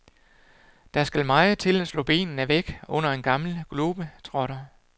Der skal meget til at slå benene væk under en gammel globetrotter.